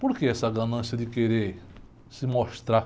Por que essa ganância de querer se mostrar?